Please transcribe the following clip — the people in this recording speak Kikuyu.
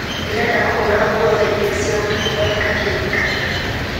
ndĩrenda kũhũra nguo thaa igĩrĩ cia ũtukũ thondeka kĩririkania